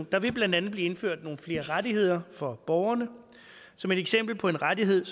der vil blandt andet blive indført nogle flere rettigheder for borgerne som et eksempel på en rettighed